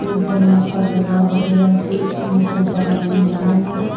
त डल्लब का गद्दा वगैरा से इन सोफा बणाई जांदा मगर --